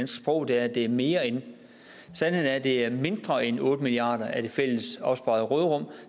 sprog er at det er mere end sandheden er at det er mindre end otte milliard af det fælles opsparede råderum